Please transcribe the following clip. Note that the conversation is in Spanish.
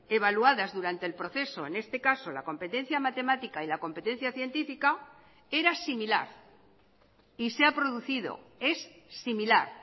evaluadas durante el proceso en este caso la competencia matemática y la competencia científica era similar y se ha producido es similar